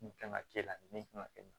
Nin kan ka kɛ la nin kan ka kɛ